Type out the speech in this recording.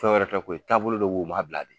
Fɛn wɛrɛ tɛ koyi taabolo de be ye u m'a bila de